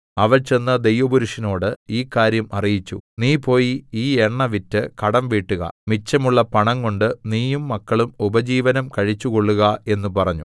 അവൾ ചെന്ന് ദൈവപുരുഷനോട് ഈ കാര്യം അറിയിച്ചു നീ പോയി ഈ എണ്ണ വിറ്റ് കടം വീട്ടുക മിച്ചമുള്ള പണം കൊണ്ട് നീയും മക്കളും ഉപജീവനം കഴിച്ചുകൊള്ളുക എന്ന് പറഞ്ഞു